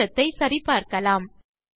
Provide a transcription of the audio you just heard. தேற்றத்தை சரி பார்க்கலாம்